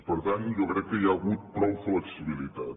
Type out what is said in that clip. per tant jo crec que hi ha hagut prou flexibilitat